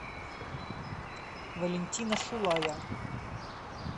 валентина шулая